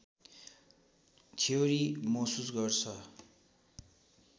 theory महसुस गर्छ